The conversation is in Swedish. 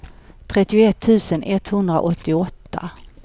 trettioett tusen etthundraåttioåtta